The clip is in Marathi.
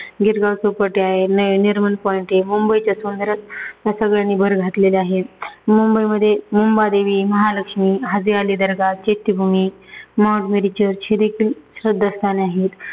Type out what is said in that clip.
गिरगांव चौपाटी आहे, नय नरिमन पॉइंट आहे. मुंबईच्या सौंदर्यात या सगळ्यांनी भर घातलेली आहे. मुंबईमध्ये Mumbadevi, Mahalakshmi, Haji Ali Dargah, Chaityabhoomi, mount Mary church हे देखील श्रद्धास्थान आहेत.